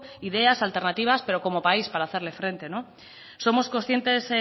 ideas alternativas pero como país para hacerle frente somos conscientes